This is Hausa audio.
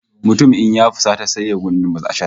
Mutum in ya fusata sai ya kunduma ashar